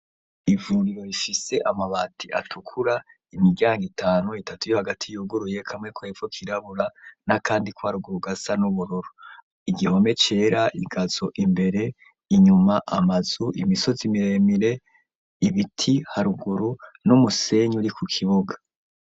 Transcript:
Ivuriro rifise amabati atukura imiryanga itanu itatu yo hagati yuguruye kamwe kwepvo kirabura n'akandi kwharuguru gasa n'ubururo igihome cera igazo imbere inyuma amazu imisozi miremire ibiti haruguru no umusenyu uri ku kibuga.